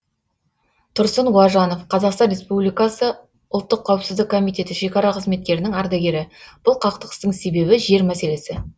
тұрсын уажанов қазақстан республикасы ұлттық қауіпсіздік комитеті шекара қызметкерінің ардагері бұл қақтығыстың себебі жер мәселесі